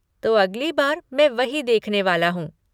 तो अगली बार मैं वही देखने वाला हूँ।